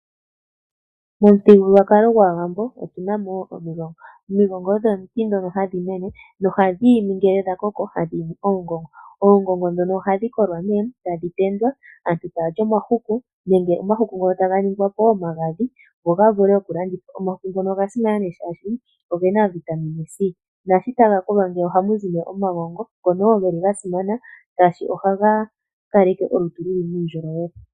Momuthigululwakalo gwaawambo otunamo omigongo. Omigongo odho omiti ndhono hadhi mene nohadhi imi ngele dha koko hadhi imi oongongo. Oongongo ndhono ohadhi kolwa nee tadhi tendwa, aantu ta yali omahuku nenge Omahuku ngono taga ningwapo omagadhi go gavule oku landithwa. Omahuku ngono oga simana oshoka zogena oVitamine c. Ngele tadhi kolwa ohamuzi nee omagongo ngono woo geli ga simana oshoka ohaga kaleke olutu nuundjolowele.